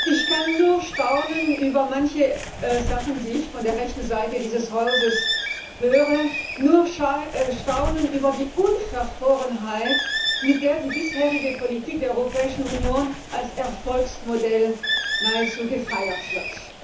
Ich kann nur staunen über manche Sachen, die ich von der rechten Seite dieses Hauses höre, nur staunen über die Unverfrorenheit, mit der die bisherige Politik der Europäischen Union als Erfolgsmodell nahezu gefeiert wird.